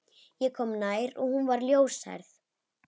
Ég kom nær og hún var ljóshærð.